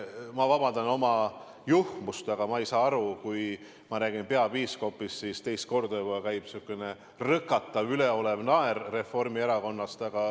Ma vabandan oma juhmust, aga ma ei saa aru, miks siis, kui ma räägin peapiiskopist, juba teist korda tuleb selline rõkatav, üleolev naer Reformierakonnast.